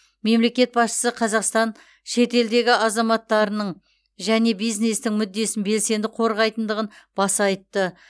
мемлекет басшысы қазақстан шетелдегі азаматтарының және бизнестің мүддесін белсенді қорғайтындығын баса айтты